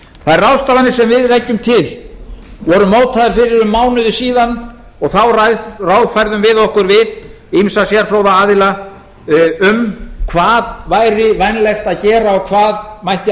þær ráðstafanir sem við leggjum til voru mótaðar fyrir um mánuði síðan og þá ráðfærðum við okkur við ýmsa sérfróða aðila um hvað væri vænlegt að gera og hvað mætti